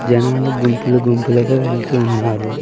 జనాలు గుంపులు గుంపులుగా వెళ్తూ ఉన్నారు.